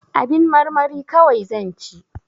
Abin marmari kawai zan ci